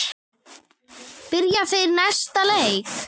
Byrja þeir næsta leik?